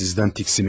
Sizdən tiksinirəm.